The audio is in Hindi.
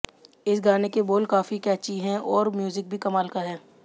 इस गाने के बोल काफी कैची हैं और म्यूजिक भी कमाल का है